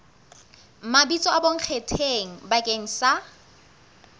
mabitso a bonkgetheng bakeng sa